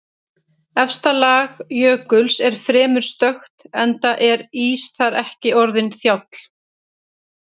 Efsta lag jökuls er fremur stökkt enda er ís þar ekki orðinn þjáll.